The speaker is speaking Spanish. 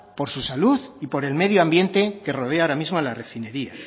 por su salud y por el medio ambiente que rodea ahora mismo a la refinería